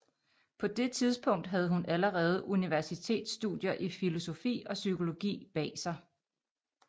På det tidspunkt havde hun allerede universitetsstudier i filosofi og psykologi bag sig